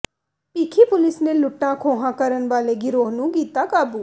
Bhikhi police ਨੇ ਲੁੱਟਾਂ ਖੋਹਾਂ ਕਰਨ ਵਾਲੇ ਗਿਰੋਹ ਨੂੰ ਕੀਤਾ ਕਾਬੂ